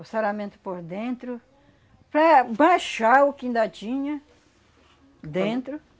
o saramento por dentro, para baixar o que ainda tinha dentro.